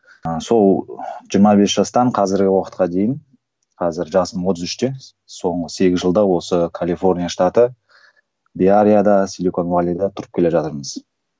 ыыы сол жиырма бес жастан қазіргі уақытқа дейін қазір жасым отыз үште соңғы сегіз жылда осы калифорния штаты беарияда тұрып келе жатырмыз